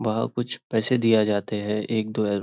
वहाँ कुछ पैसे दिया जाते हैं एक दो ह --